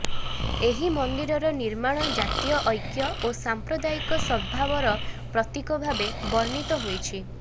ଏହି ମନ୍ଦିରର ନିର୍ମାଣ ଜାତୀୟ ଐକ୍ୟ ଓ ସାମ୍ପ୍ରଦାୟିକ ସଦ୍ଭାବର ପ୍ରତୀକ ଭାବେ ବର୍ଣ୍ଣିତ ହୋଇଛି